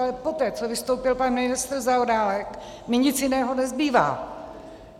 Ale poté, co vystoupil pan ministr Zaorálek, mi nic jiného nezbývá.